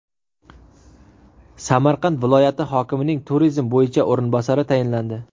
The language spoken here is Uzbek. Samarqand viloyati hokimining turizm bo‘yicha o‘rinbosari tayinlandi.